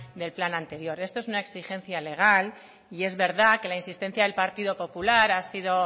del plan anterior esto es una exigencia legal y es verdad que la insistencia del partido popular ha sido